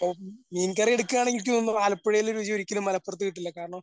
ഇപ്പൊ മീൻകറി എടുക്കയാണെങ്കിൽ എനിക്ക് തോന്നുന്നു ആലപ്പുഴയിലെ രുചി ഒരിക്കലും മലപ്പുറത്ത് കിട്ടില്ല കാരണം